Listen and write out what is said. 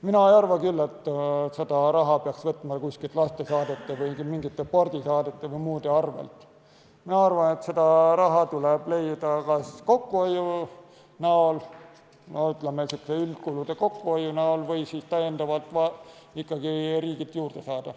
Mina ei arva, et seda raha peaks võtma lastesaadete, spordisaadete või muude saadete arvelt, mina arvan, et see raha tuleb leida kas üldkulude kokkuhoiu abil või siis tuleks riigilt raha juurde saada.